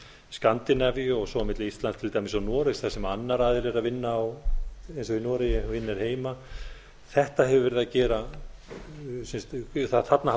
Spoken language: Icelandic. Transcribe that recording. skandinavíu og svo milli íslands til dæmis og noregs þar sem annar aðili er að vinna eins og í noregi vinnur heima þarna